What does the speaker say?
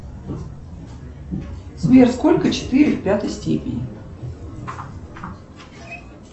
сбер сколько четыре в пятой степени